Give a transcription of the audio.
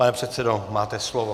Pane předsedo, máte slovo.